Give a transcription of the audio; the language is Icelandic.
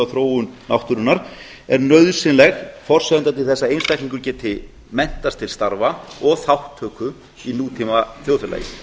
þróun náttúrunnar er nauðsynleg forsenda til þess að einstaklingur geti menntast til starfa og þátttöku í tíma þjóðfélagi